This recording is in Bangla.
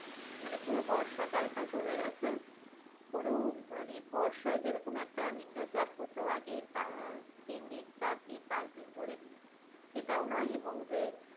মানে পুরো বর্ষাকাল টা চলে গিয়ে কোন মানে বর্ষায় যেরকম একটা নিম্ম চাপ হত আগে আহ তিন দিন চার দিন পাচ দিন ধরে, সেটাও নয় এবং যে